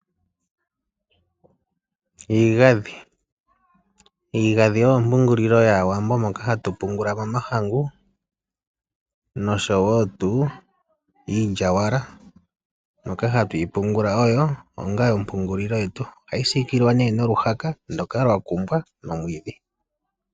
Iigadhi, iigadhi oyo ompungulilo yaawambo mono hatu pungula mo omahangu nosho wo tuu iilyawala moka hatuyi pungula onga ompungulilo yetu. Ohayi siikilwa nee noluhaka ndoka lwa kumbwa nomwiidhi